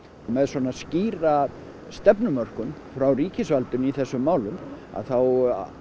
með svona skýra frá ríkisvaldinu í þessum málum þá